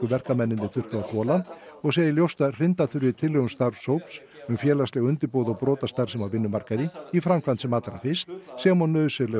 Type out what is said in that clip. verkamennirnir þurftu að þola og segir ljóst að hrinda þurfi tillögum starfshóps um félagsleg undirboð og brotastarfsemi á vinnumarkaði í framkvæmd sem allra fyrst sem og nauðsynlegum